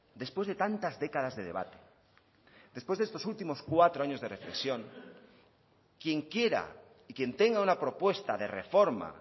después de tantas décadas de debate después de estos últimos cuatro años de reflexión quien quiera y quien tenga una propuesta de reforma